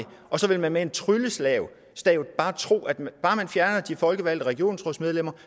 og så vil man med et trylleslag tro at bare man fjerner de folkevalgte regionsrådsmedlemmer